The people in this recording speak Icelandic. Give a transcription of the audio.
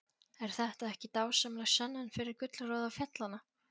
Er þetta ekki dásamleg sönnun fyrir gullroða fjallanna?